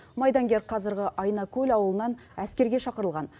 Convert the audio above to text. майдангер қазіргі айнакөл ауылынан әскерге шақырылған